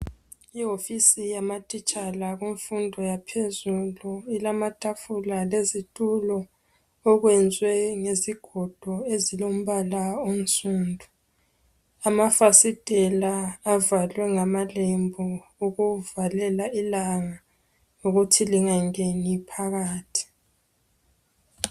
Iwofisi yamatitshala kumfundo yaphezulu ilamatafula lezitulo okwenzwe ngezigodo ezilombala onsundu. Amafasitela avalwe ngamalembu ukuvalela ilanga ukuthi lingangeni phakathi.